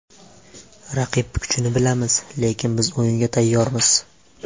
Raqib kuchini bilamiz, lekin biz o‘yinga tayyormiz.